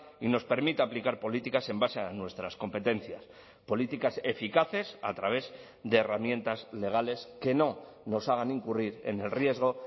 y nos permita aplicar políticas en base a nuestras competencias políticas eficaces a través de herramientas legales que no nos hagan incurrir en el riesgo